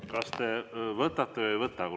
Kas te võtate või ei võta?